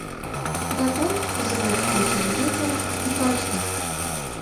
добавь звук у телевизора дважды